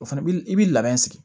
O fana bi i b'i labɛn sigi